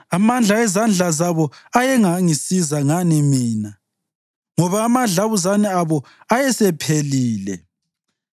Amandla ezandla zabo ayengangisiza ngani mina, ngoba amadlabuzane abo ayesephelile;